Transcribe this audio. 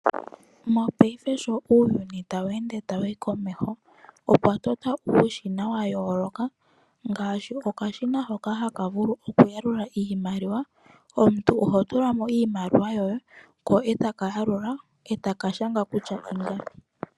Mopayife uuyuni sho tawu ende wuuka komeho opwa totwa uushina wa yooloka. Opu na okashina ko ku yalula iimaliwa mono omuntu ho tula iimaliwa yoye ,ko take kupe omwaalu gwiimaliwa mbyoka wu na.